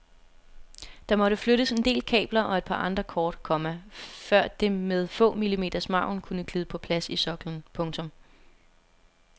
Der måtte flyttes en del kabler og et par andre kort, komma før det med få millimeters margin kunne glide på plads i soklen. punktum